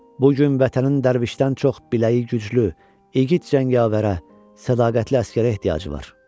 Bu gün vətənin dərvişdən çox biləyi güclü, igid cəngavərə, sədaqətli əsgərə ehtiyacı var.